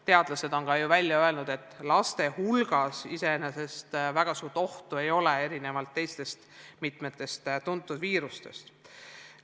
Teadlased on välja öelnud, et laste hulgas iseenesest väga suurt ohtu nakatuda ei ole, erinevalt mitmetest teistest tuntud viirustest.